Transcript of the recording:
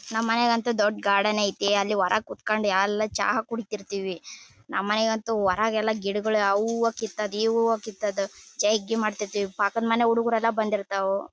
ನಮ್ಮ ಮನೆ ಅಂತೂ ದೊಡ್ಡ ಗಾರ್ಡನ್ ಐತಿ. ಅಲ್ಲಿ ಹೊರಗ್ ಕುತ್ ಕೊಂಡ್ ಎಲ್ಲಾ ಚಾ ಕುಡಿತಿರತ್ತೀವಿ. ನಮ್ಮ ಮನೆ ಅಂತು ಹೊರಗೆಲ್ಲಾ ಗಿಡಗಳು ಆ ಹೂವು ಕೀತೋದ್ದು ಈ ಹೂವು ಕೀತೋದ್ದು ಪಕ್ಕದ ಹುಡುಗರೆಲ್ಲಾ ಬಂದಿರತ್ತವ.